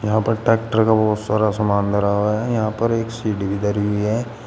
यहां पर ट्रैक्टर का बहुत सारा सामान धरा हुआ है यहां पर एक सीढ़ी भी धरी हुई है।